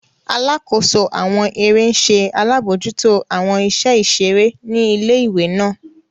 Alakoso awọn ere ń ṣe alabojuto awọn iṣẹ iṣere ni ìlé-ìwé náà.